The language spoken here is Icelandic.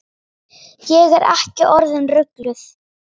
Ég er ekki orðin rugluð.